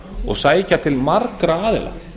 og sækja til margra aðila